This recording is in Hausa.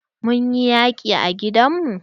Mun yi yaƙi a gidan mu.